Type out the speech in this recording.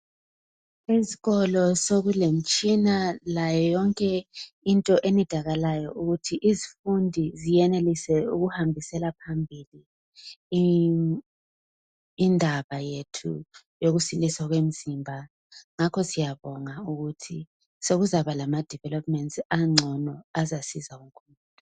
Esikolo sokulemitshina layo yonke into e nidakalayo ukuthi izifundi ziyenelise ukuhambisela phambili indaba yethu yokusiliswa kwemzimba ngakho siyabonga ukuthi sokuzabalama developments ancono azasiza lokho